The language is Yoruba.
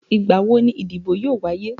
Ìgbà wo ni ìdìbò yóò wáyé?